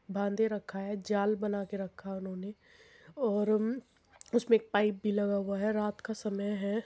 बांधे रखा है जाल बना के रखा उन्होंने और उसमे एक पाइप भी लगा हुआ है रात का समय है।